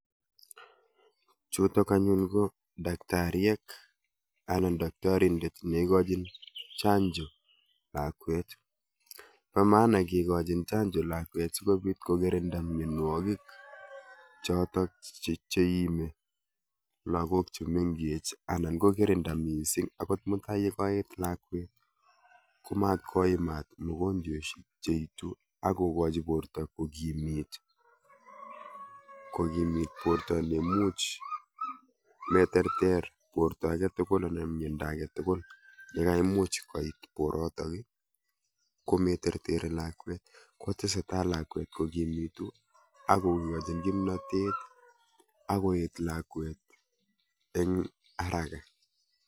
Chutok anyun ko daktaryek anan daktorindet neikochin chanjo lakwet. Po maana kikochin chanjo lakwet sikobit kokirinda mienwokik chotok cheiimi lagok chemenkech anan kokirinda mising akot mutai kokaet lakwet ko matkoimat mogonjweshek cheitu ak kokochi porto kokimit, kokimit porto neimuch meterter porto aketukul anan miendo aketukul yekaimuch koit porotok kometerteri lakwet, kotesetai lakwet kokimitu akokochin kimnotet akoet lakwet eng haraka